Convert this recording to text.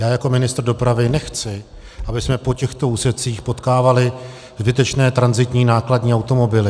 Já jako ministr dopravy nechci, abychom po těchto úsecích potkávali zbytečné tranzitní nákladní automobily.